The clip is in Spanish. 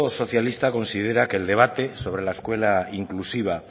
socialista considera que el debate sobre la escuela inclusiva